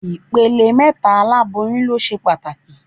Ìpele mẹ́ta oláboyún ló ṣe pàtàkì